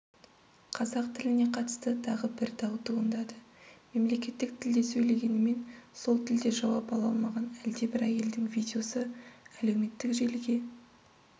қазақ тіліне қатысты тағы бір дау туындады мемлекеттік тілде сөйлегенімен сол тілде жауап ала алмаған әлде бір әйелдің видеосы әлеуметтік желіге